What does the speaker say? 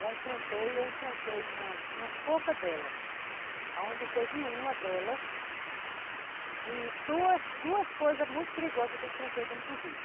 Já enfrentei, eu enfrentei umas poucas delas, onde teve uma delas, que duas duas coisas muito perigosas que eu enfrentei dentro do rio.